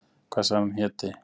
Hvað sagðirðu að hann héti?